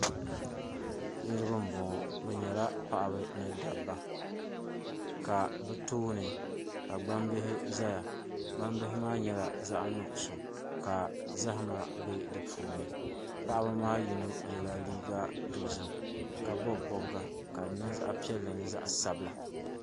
Niraba n bɔŋɔ bi nyɛla paɣaba ni dabba ka bi tooni ka gbambihi ʒɛya gbambihi maa nyɛla zaɣ nuɣso ka zahama bɛ di puuni paɣaba maa yino yɛla liiga dozim ka bob bobga ka di niŋ zaɣ piɛlli ni zaɣ sabila